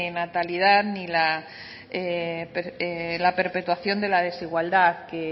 natalidad ni la perpetuación de la desigualdad que